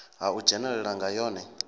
ha u dzhenelela nga yone